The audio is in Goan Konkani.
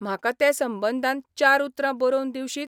म्हाका ते संबंदान चार उतरां बरोबन दिवशीत?